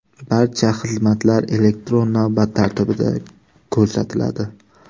Barcha xizmatlar elektron navbat tartibida ko‘rsatiladi.